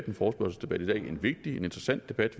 en forespørgselsdebat i dag en vigtig og interessant debat